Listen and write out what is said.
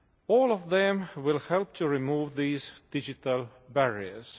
All of them will help to remove these digital barriers.